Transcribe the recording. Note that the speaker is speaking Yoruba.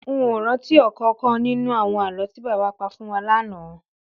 N ò rántí ò̩kò̩ò̩kan nínú àwo̩n àló̩ tí bàbá pa fún wa lánàá